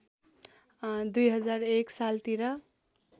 २००१ सालतिर